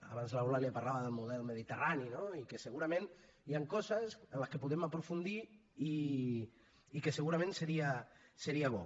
abans l’eulàlia parlava del model mediterrani i segurament hi han coses en les que podem aprofundir i que segurament seria bo